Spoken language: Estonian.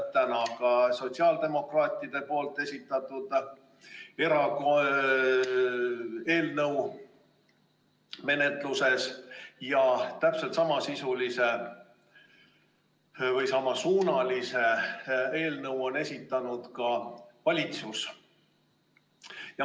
Täna on sotsiaaldemokraatide esitatud eelnõu menetluses ja täpselt samasuunalise eelnõu on esitanud ka valitsus.